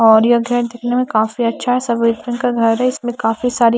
और ये काफी अच्छा है का घर है इसमें काफी सारी--